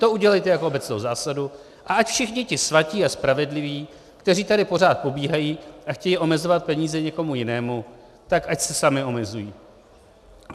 To udělejte jako obecnou zásadu a ať všichni ti svatí a spravedliví, kteří tady pořád pobíhají a chtějí omezovat peníze někomu jinému, tak ať se sami omezují.